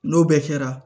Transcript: N'o bɛɛ kɛra